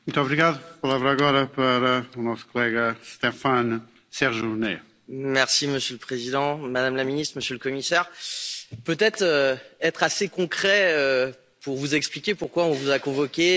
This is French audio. Monsieur le Président, Madame la ministre, Monsieur le Commissaire, je voudrais être assez concret pour vous expliquer pourquoi nous vous avons convoqués sans beaucoup de préparation à ce débat et de manière assez unanime sur les bancs de cet hémicycle.